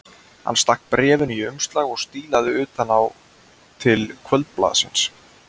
Hann stakk bréfinu í umslag og stílaði utan á til Kvöldblaðsins.